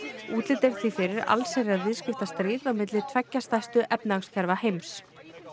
útlit er því fyrir viðskiptastríð milli tveggja stærstu efnahagskerfa heims